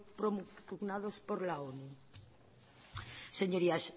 propugnados por la onu señorías